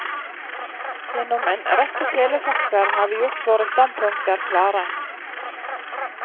Gjennom en rekke telefaxer har vi gjort våre standpunkter klare.